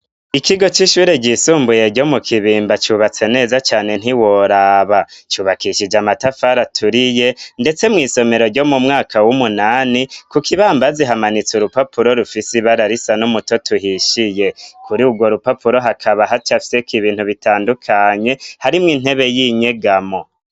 Ikigo c'ishure gyisumbuye ryo mu kibimba cubatse neza cane ntiworaba cyubakishije amatafara aturiye ndetse mu isomero ryo mu mwaka w'umunani ku ko ibambazi hamanitse urupapuro rufisi bararisa n'umuto tuhishiye kuri ubwo rupapuro hakaba hac afise ku ibintu bitandukanye harimwo intebe y'inyegamo.